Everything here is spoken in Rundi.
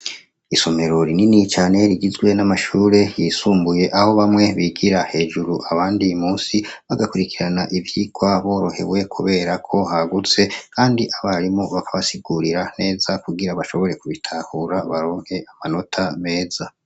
Isomero rinini cane rigizwe n'amashure yisumbuye aho bamwe bigira hejuru abandi musi bagakurikirana ivyirwa borohewe kuberako hagutse, kandi abarimo bakabasigurira neza kugira bashobore kubitahura baronke amanota meza.